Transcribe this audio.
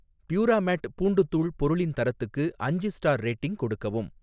பியூராமேட் பூண்டுத் தூள் பொருளின் தரத்துக்கு அஞ்சு ஸ்டார் ரேட்டிங் கொடுக்கவும்